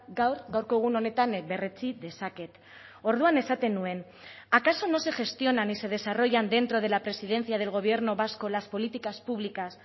gaur gaurko egun honetan berretsi dezaket orduan esaten nuen acaso no se gestionan y se desarrollan dentro de la presidencia del gobierno vasco las políticas públicas